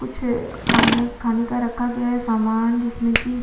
कुछ खाना खाने का रखा गया है सामान जिसमे की --